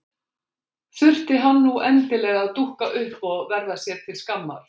Þurfti hann nú endilega að dúkka upp og verða sér til skammar!